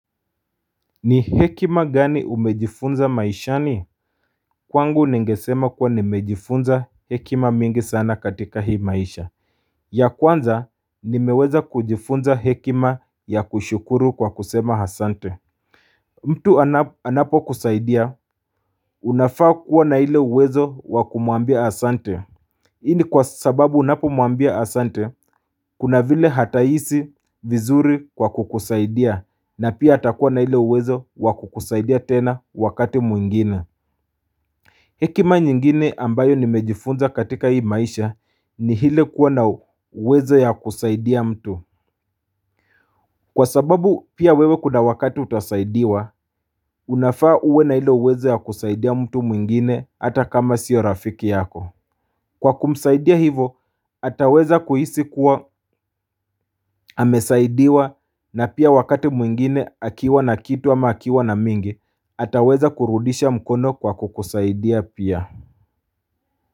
Ni hekima gani umejifunza maishani kwangu ningesema kuwa nimejifunza hekima mingi sana katika hii maisha. Ya kwanza nimeweza kujifunza hekima ya kushukuru kwa kusema asante mtu anapokusaidia unafaa kuwa na ile uwezo wa kumwambia asante Hii ni kwa sababu unapomwambia Asante, kuna vile atahisi vizuri kwa kukusaidia na pia atakuwa na ile uwezo wa kukusaidia tena wakati mwingine. Hekima nyingine ambayo nimejifunza katika hii maisha ni ile kuwa na uwezo ya kusaidia mtu. Kwa sababu pia wewe kuna wakati utasaidiwa, unafaa uwe na ile uwezo ya kusaidia mtu mwingine hata kama sio rafiki yako. Kwa kumsaidia hivo ataweza kuhisi kuwa amesaidiwa na pia wakati mwingine akiwa na kitu ama akiwa na mingi ataweza kurudisha mkono kwa kukusaidia pia.